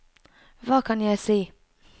hva kan jeg si